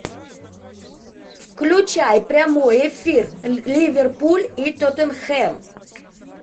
включай прямой эфир ливерпуль и тоттенхэм